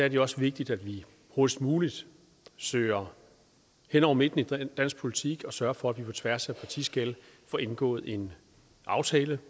er det også vigtigt at vi hurtigst muligt søger hen over midten i dansk politik og sørger for at vi på tværs af partiskel får indgået en aftale